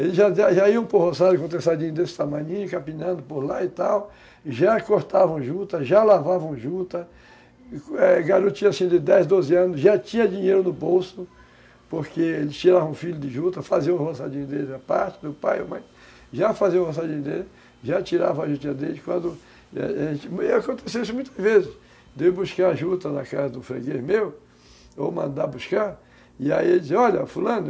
eles já já iam por roçado, com trançadinho desse tamaninho, capinando por lá e tal, já cortavam juta, já lavavam juta, é, garotinha assim de dez, doze anos, já tinha dinheiro no bolso, porque eles tiravam o filho de juta, faziam o roçadinho deles, a parte do pai ou mãe, já faziam o roçadinho deles, já tiravam a juta deles, e acontecia isso muitas vezes, de buscar juta na casa do freguês meu, ou mandar buscar, e aí eles diziam, olha, fulano,